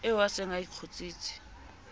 eo a se a kgutsitse